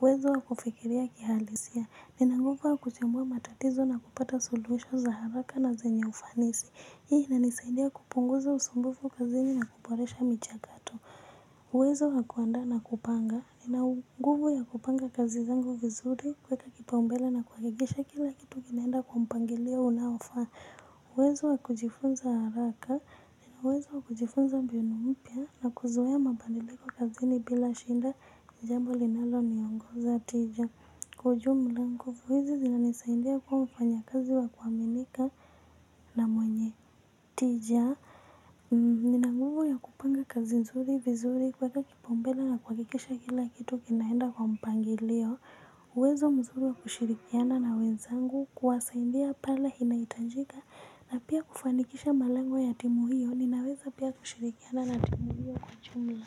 Uwezo wa kufikiria kihalisia, nina uwezo wa kuchambua matatizo na kupata suluhisho za haraka na zenye ufanisi. Hii inanisaidia kupunguza usumbufu kazini na kuboresha michakato. Uwezo wa kuandaa na kupanga ina nguvu ya kupanga kazi zangu vizuri kuweka kipaumbele na kuhakikisha kila kitu kinaenda kwa mpangilio unaofaa. Uwezo wa kujifunza haraka nina uwezo wa kujifunza mbinu mpya na kuzoea mabadiliko kazini bila shida jambo linalo niongoza tu hivyo kwa ujumla nguvu hizi zinanisaidia kuwa mfanyikazi wa kuaminika na mwenye tija nina nguvu ya kupanga kazi nzuri vizuri kuweka kipaumbele na kuhakikisha kila kitu kinaenda kwa mpangilio uwezo mzuri wa kushirikiana na wenzangu kuwasaidia pale inahitajika na pia kufanikisha malengo ya timu hiyo ninaweza pia kushirikiana na timu hiyo kwa jumla.